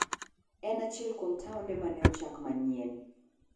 En achiel kuom taonde ma ne ochak manyien.